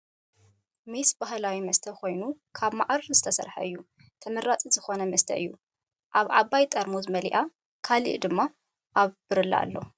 ሜስ ባህላዊ መስተ ኮይኑ ካብ ማዓር ዝስረሕ ኣዝዩ ተመራፂ ዝኮነ መሰተ እዩ ኣብ ዓባይ ጥርሙዝ መሊኣ ካልእ ድማ ኣብ ብርለ ኣሎ።